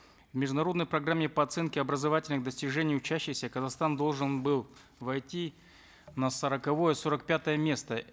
в международной программе по оценке образовательных достижений учащихся казахстан должен был войти на сороковое сорок пятое место